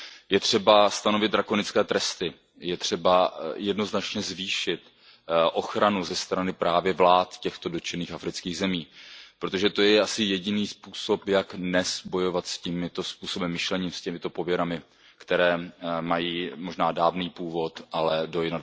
Je třeba stanovit drakonické tresty, je třeba jednoznačně zvýšit ochranu ze strany právě vlád těchto dotčených afrických zemí, protože to je asi jediný způsob, jak dnes bojovat s tímto způsobem myšlení, s těmito pověrami, které mají možná dávný původ, ale do